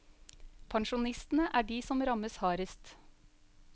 Pensjonistene er de som rammes hardest.